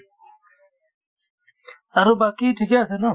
আৰু বাকি ঠিকে আছে ন